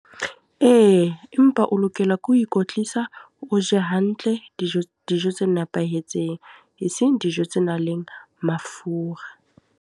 Ee, empa o lokela ke ho ikwetlisa, o je hantle dijo dijo tse nepahetseng. Eseng dijo tse nang le mafura.